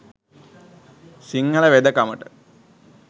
Sinhala වෙදකමට